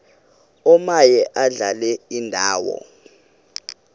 omaye adlale indawo